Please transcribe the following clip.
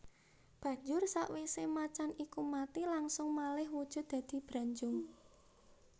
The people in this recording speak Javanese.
Banjur sawisé macan iku mati langsung malih wujud dadi Branjung